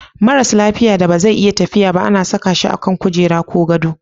Maras lafiya da ba zai iya tafiya ba ana saka shi a kan kujera ko gado.